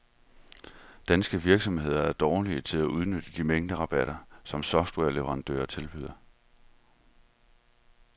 Danske virksomheder er dårlige til at udnytte de mængderabatter, som softwareleverandører tilbyder.